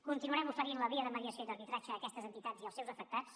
continuarem oferint la via de mediació i d’arbitratge a aquestes entitats i als seus afectats